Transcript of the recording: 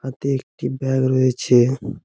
হাতে একটি ব্যাগ রয়েছে ।